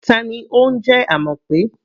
Ta ni ó ń jẹ́ Amope?